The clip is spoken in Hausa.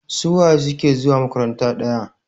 Suwaye suke zuwa makaranta ɗaya?